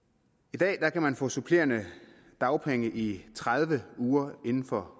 i dag kan man få supplerende dagpenge i tredive uger inden for